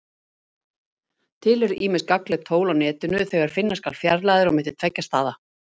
Til eru ýmis gagnleg tól á Netinu þegar finna skal fjarlægðir á milli tveggja staða.